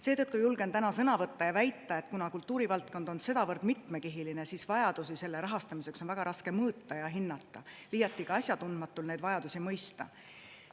Seetõttu julgen täna sõna võtta ja väita, et kuna kultuurivaldkond on sedavõrd mitmekihiline, siis vajadusi selle rahastamiseks on väga raske mõõta ja hinnata, liiatigi asjatundmatul neid vajadusi mõista.